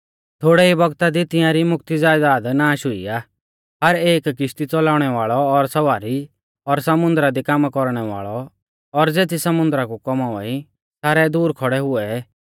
थोड़ै ई बौगता दी तिंआरी मोकती ज़यदाद नाश हुई आ हर एक किश्ती च़लाउणै वाल़ौ और सवारी और समुन्दरा दी कामा कौरणै वाल़ौ और ज़ेती समुन्दरा कु कौमावा ई सारै दूर खौड़ै हुऐ